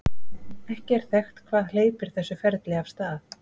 Ekki er þekkt hvað hleypir þessu ferli af stað.